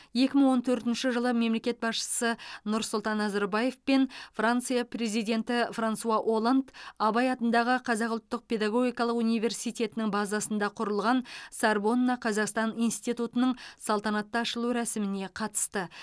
екі мың он төртінші жылы мемлекет басшысы нұрсұлтан назарбаев пен франция президенті франсуа олланд абай атындағы қазақ ұлттық педагогикалық университетінің базасында құрылған сорбонна қазақстан институтының салтанатты ашылу рәсіміне қатысты